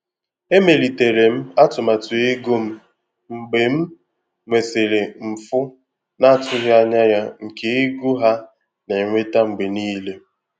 Emelitere m atụmatụ ego m mgbe m nwesịrị mfu na-atụghị anya ya nke ego ha na-enweta mgbe niile.